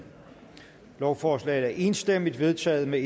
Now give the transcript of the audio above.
lovforslaget er enstemmigt vedtaget med